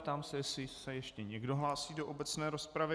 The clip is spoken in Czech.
Ptám se, jestli se ještě někdo hlásí do obecné rozpravy.